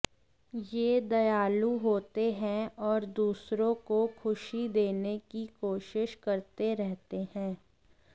ये दयालु होते हैं और दूसरों को खुशी देने की कोशिश करते रहते हैं